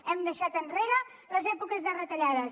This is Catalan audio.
hem deixat enrere les èpoques de retallades